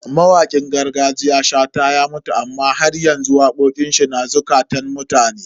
Mawakin gargajiya Shata ya mutu amma haryanzu waƙoƙin shi na zukatan mutane.